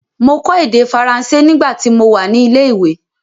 Mọ kọ èdè Faranse nígbà ti mo wà ní ilé ìwé.